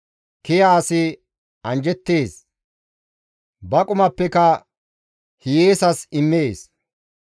Kiya asi anjjettees; ba qumappeka hiyeesas immees.